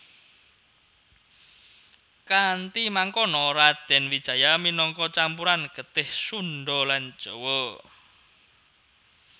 Kanthi mangkono Radèn Wijaya minangka campuran getih Sundha lan Jawa